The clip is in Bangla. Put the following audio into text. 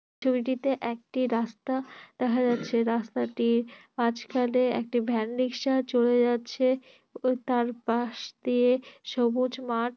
ছবিটিতে একটি রাস্তা দেখা যাচ্ছে রাস্তাটির মাঝখানে একটি ভ্যান রিক্সা চলে যাচ্ছে তার পাশ দিয়ে সবুজ মাঠ।